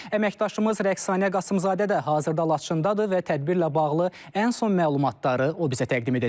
Əməkdaşımız Rəqsanə Qasımzadə də hazırda Laçındadır və tədbirlə bağlı ən son məlumatları o bizə təqdim edəcək.